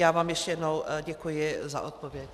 Já vám ještě jednou děkuji za odpověď.